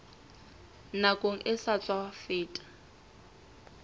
nakong e sa tswa feta